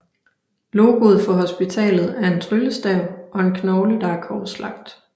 Logoet for hospitalet er en tryllestav og en knogle der er korslagt